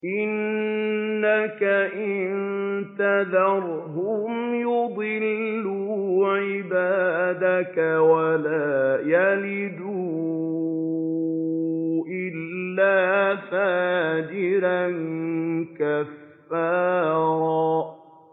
إِنَّكَ إِن تَذَرْهُمْ يُضِلُّوا عِبَادَكَ وَلَا يَلِدُوا إِلَّا فَاجِرًا كَفَّارًا